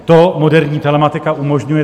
To moderní telematika umožňuje.